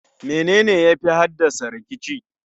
menene yafi haddasa rikici?